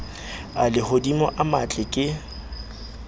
a lehodimo a matle ke